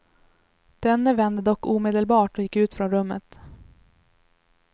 Denne vände dock omedelbart och gick ut från rummet.